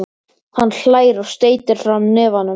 Hann hlær og steytir fram hnefann.